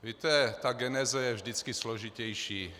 Víte, ta geneze je vždycky složitější.